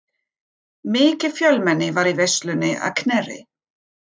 Mikið fjölmenni var í veislunni að Knerri.